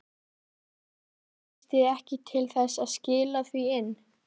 Íslendingar gengu á hönd Hákoni Hákonarsyni Noregskonungi á árunum